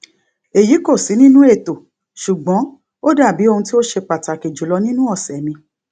èyí kò sí nínú ètò ṣùgbọn ó dàbí ohun tí ó ṣe pàtàkì jùlọ nínú ọsẹ mi